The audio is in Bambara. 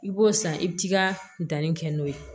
I b'o san i bi t'i ka danni kɛ n'o ye